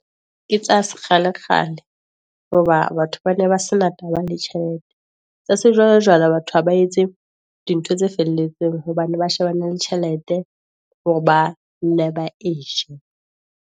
Ke tsa se kgale kgale, hoba batho ba ne ba sena taba le tjhelete, tsa se jwalo jwalo batho ha ba etse dintho tse felletseng, hobane ba shebana le tjhelete hore ba nne ba eje.